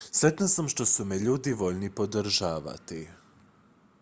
sretna sam što su me ljudi voljni podržati